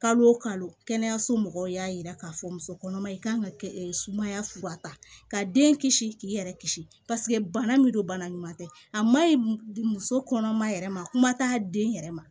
Kalo o kalo kɛnɛyaso mɔgɔw y'a yira k'a fɔ muso kɔnɔma kan ka kɛ sumaya fura ta ka den kisi k'i yɛrɛ kisi bana min don bana ɲuman tɛ a ma ɲi muso kɔnɔma yɛrɛ ma kuma t'a den yɛrɛ ma